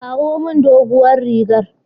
Ki kawo min dogon rigar.